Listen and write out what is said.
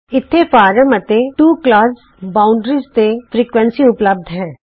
ਇਥੇ ਫਰਾਮ ਅਤੇ to class boundaries ਤੇ ਫ੍ਰੀਕੁਏਂਸੀ ਉਪਲੱਭਤ ਹੈ